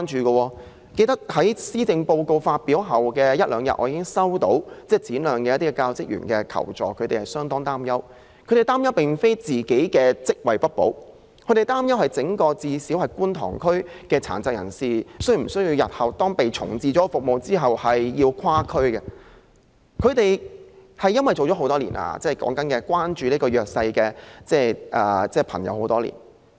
我記得在施政報告發表後的一兩天，便已接獲該中心一些教職員的求助，他們十分擔憂，但並非擔憂自己的職位不保，而是擔心整個觀塘區內的殘疾人士，是否須在重置服務後跨區上課，因為他們關注弱勢社群已有多年。